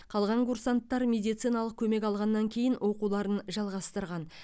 қалған курсанттар медициналық көмек алғаннан кейін оқуларын жалғастырған